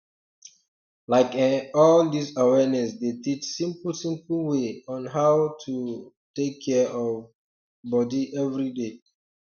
like eh all dis awareness dey teach simple simple way on how to um take care of um body everyday